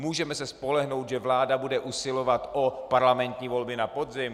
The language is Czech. Můžeme se spolehnout, že vláda bude usilovat o parlamentní volby na podzim?